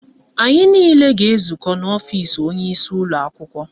Anyị niile ga-ezukọ n'ọfisi onyeisi ụlọakwụkwọ